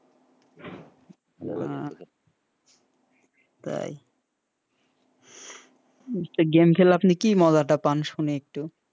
তাই game খেলে কি মজাটা আপনি শুনি একটু?